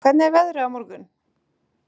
Gaston, hvernig er veðrið á morgun?